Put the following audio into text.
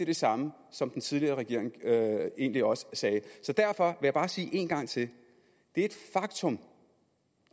det samme som den tidligere regering egentlig også sagde derfor vil jeg bare sige en gang til det er et faktum